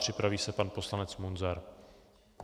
Připraví se pan poslanec Munzar.